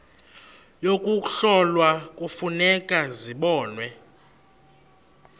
yokuhlola kufuneka zibonwe